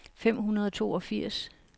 fem hundrede og toogfirs